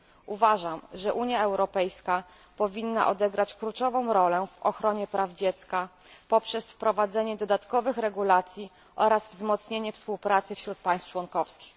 Uważam, że Unia Europejska powinna odegrać kluczową rolę w ochronie praw dziecka poprzez wprowadzenie dodatkowych regulacji oraz wzmocnienie współpracy wśród państw członkowskich.